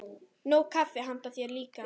Nóg kaffi handa þér líka.